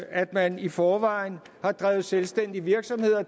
at man i forvejen har drevet selvstændig virksomhed